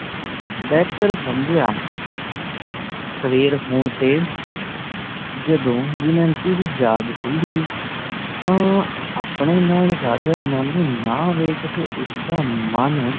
ਬੇਹਤਰ ਸਮਝਿਆ ਸਵੇਰ ਹੋਣ ਤੇ ਜਦੋ ਦਮਯੰਤੀ ਦੀ ਜਾਗ ਖੁੱਲੀ ਤਾਂ ਆਪਣੇ ਨਾਲ ਰਾਜਾ ਨੱਲ ਨੂੰ ਨਾ ਵੇਖ਼ ਕੇ ਉਸਦਾ ਮੰਨ